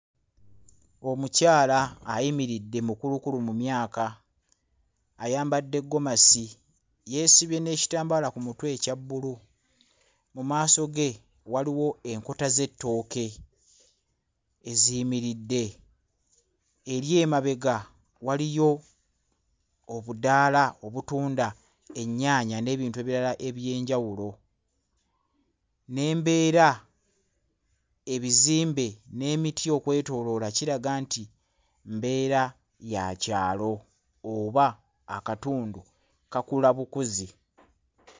Omukyala ayimiridde mukulukulu mu myaka ayambadde ggomasi yeesibye n'ekitambaala ku mutwe ekya bbulu mu maaso ge waliwo enkota z'ettooke eziyimiridde eri emabega waliyo obudaala obutunda ennyaanya n'ebintu ebirala eby'enjawulo n'embeera ebizimbe n'emiti okwetooloola kiraga nti mbeera ya kyalo oba akatundu kakula bukuzi.